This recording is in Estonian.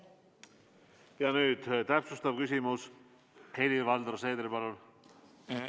Nüüd täpsustav küsimus, Helir-Valdor Seeder, palun!